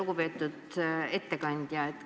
Lugupeetud ettekandja!